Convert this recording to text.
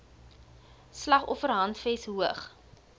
slag offerhandves hoog